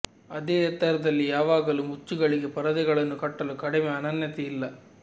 ಅದೇ ಎತ್ತರದಲ್ಲಿ ಯಾವಾಗಲೂ ಮುಚ್ಚುಗಳಿಗೆ ಪರದೆಗಳನ್ನು ಕಟ್ಟಲು ಕಡಿಮೆ ಅನನ್ಯತೆ ಇಲ್ಲ